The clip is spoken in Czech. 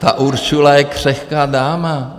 Ta Ursula je křehká dáma...